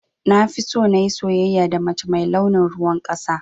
Nafiso nayi soyayya da mace mai launin ruwan ƙasa.